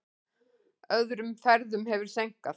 Öðrum ferðum hefur seinkað.